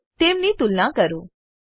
અને તેમની તુલના કરો